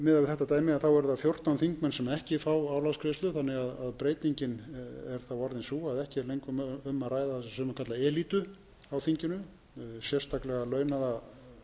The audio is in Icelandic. miðað við þetta dæmi eru það fjórtán þingmenn sem ekki fá álagsgreiðslum þannig að breytingin er þá orðin sú að ekki er lengur um að ræða það sem sumir kalla elítu á þinginu sérstaklega launaða